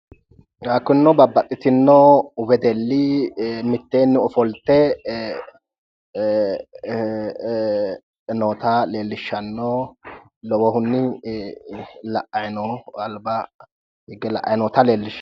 kunino babbaxxitino wedelli miteenni ofolte noota leellishshanno lowohunni alba higge la'ayi noota leellishanno